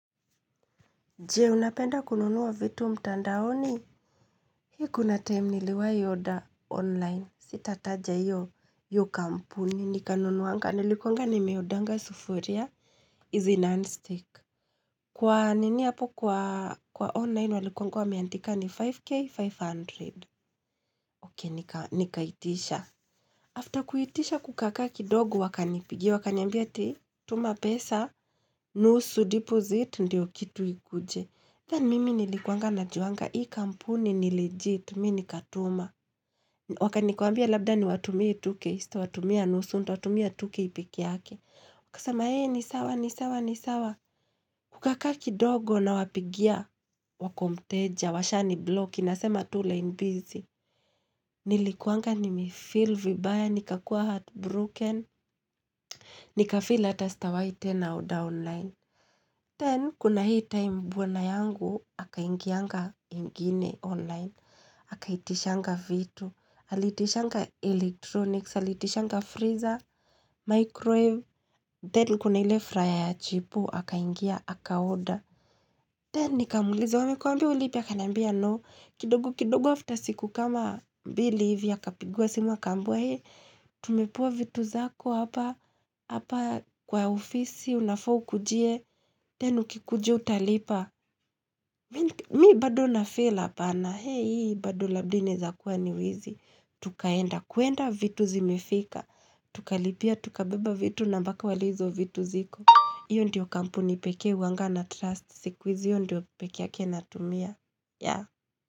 Jee, unapenda kununua vitu mtandaoni? Hii kuna time niliwahi order online. Sitataja hiyo, hio kampuni. Nikanunuanga, nilikuanga nimeodernga sufuria. Izi non stick. Kwa nini hapo kwa online, walikuanga wameandika ni 5K 500. Okay, nikaitisha. After kuitisha kukaa kaa kidogo wakanipigia, wakaniambia ati, tuma pesa, nusu deposit, ndio kitu ikuje. Then mimi nilikuanga najuanga, hii kampuni ni legit, mimi nikatuma. Okay nikawaambia labda niwatumie 2k, sitawatumia nusu nitawatumia 2k pekee yake. Wakasema eeh ni sawa, ni sawa, ni sawa. Kukaa kaa kidogo nawapigia, wako mteja, washanibloki inasema tu line busy. Nilikuanga nimefeel vibaya, nikakua heartbroken, nikafeel hata sitawahi tena order online. Then, kuna hii time bwana yangu, akaingianga ingine online, akaitishanga vitu, alitishanga electronics, alitishanga freezer, microwave, then kuna ile frier ya chipo, akaingia, akaorder. Then nikamuuliza wamekuambia ulipe akaniambia no, kidogo kidogo after siku kama mbili hivi akapigiwa simu akaambiwa he, tumepewa vitu zako hapa, hapa kwa ofisi unafaa ukujie, then ukikujia utalipa, mi bado nafeel hapana, hee hii bado labda inaeza kuwa ni wizi, tukaenda, kuenda vitu zimefika, tukalipia, tuka beba vitu na mpaka wa leo hizo vitu ziko. Iyo ndiyo kampuni pekee huwanga natrust. Sikuizi hiyo ndiyo pekee yake natumia.